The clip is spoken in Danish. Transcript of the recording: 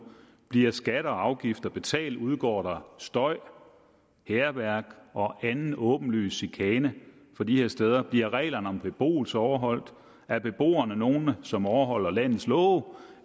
bliver skatter og afgifter betalt udgår der støj hærværk og anden åbenlys chikane fra de her steder bliver reglerne om beboelse overholdt er beboerne nogle som overholder landets love